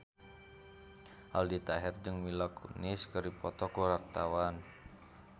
Aldi Taher jeung Mila Kunis keur dipoto ku wartawan